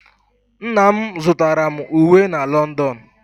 Nna m zụtara m uwe na London.